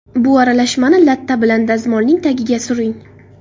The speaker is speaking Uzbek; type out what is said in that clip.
Bu aralashmani latta bilan dazmolning tagiga suring.